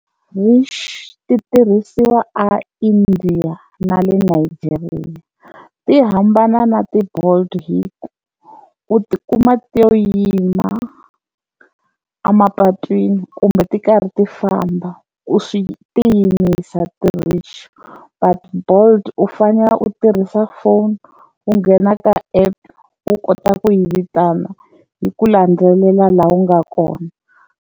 i tirhisiwa a India na le Nigeria, ti hambana na ti-Bolt hi ku u ti kuma ti yo yima a mapatwini kumbe ti karhi ti famba u swi ti yimisa ti-rickshaw but Bolt u fanele u tirhisa foni u nghena ka app u kota ku yi vitana yi ku landzelela laha u nga kona.